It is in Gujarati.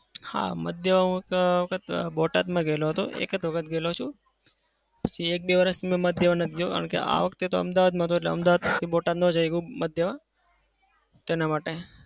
હા. મત દેવા હું તો આ વખત બોટાદમાં ગયો હતો. એક જ વખત ગયો છું. પછી એક-બે વર્ષ મેં માટે દેવા નથી ગયો કારણ કે આ વખતે તો અમદાવાદમાં હતો એટલે અમદાવાદ બોટાદ ના શક્યો માટે દેવા.